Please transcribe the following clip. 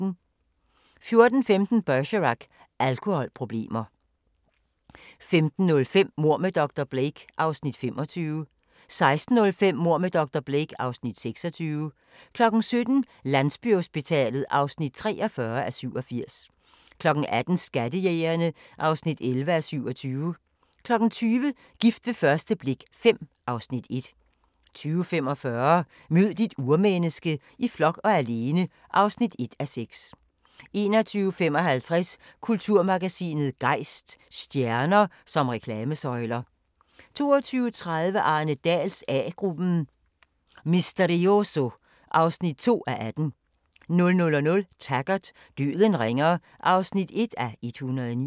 14:15: Bergerac: Alkoholproblemer 15:05: Mord med dr. Blake (Afs. 25) 16:05: Mord med dr. Blake (Afs. 26) 17:00: Landsbyhospitalet (43:87) 18:00: Skattejægerne (11:27) 20:00: Gift ved første blik V (Afs. 1) 20:45: Mød dit urmenneske - i flok og alene (1:6) 21:55: Kulturmagasinet Gejst: Stjerner som reklamesøjler 22:30: Arne Dahls A-gruppen: Misterioso (2:18) 00:00: Taggart: Døden ringer (1:109)